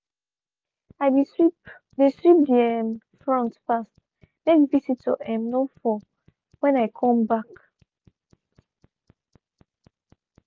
i be sweep de sweep de um front fast make visitor um no fall when i come back.